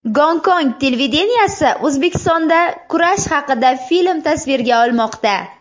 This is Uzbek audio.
Gonkong televideniyesi O‘zbekistonda kurash haqida film tasvirga olmoqda.